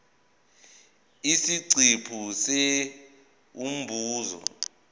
isiqephu c umbuzo